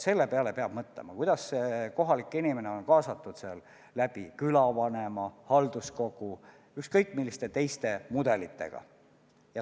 Selle peale peab mõtlema, kuidas kohalik inimene on kaasatud ellu läbi külavanema, läbi halduskogu, ükskõik milliste mudelitega.